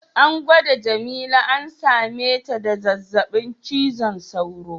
An gwada jamila an same ta da zazzabin cizon sauro.